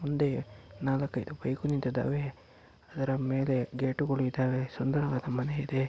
ಮುಂದೆ ನಾಲಕೈದು ಬೈಕ್ ನಿಂತಿದವೆ ಅದರ ಮೇಲೆ ಗೇಟುಗಳು ಇದವೆ ಸುಂದರವಾದ ಮನೆ ಇದೆ.